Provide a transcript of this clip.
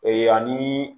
Ee ani